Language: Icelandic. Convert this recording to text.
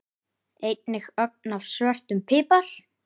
Einnig ögn af svörtum pipar.